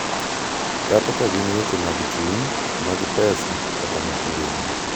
Kata ka gin weche mag chuny, mag pesa, kata mag ngima.